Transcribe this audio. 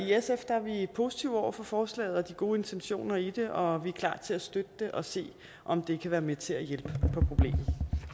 positive over for forslaget og de gode intentioner i det og vi er klar til at støtte det og se om det kan være med til at hjælpe på problemet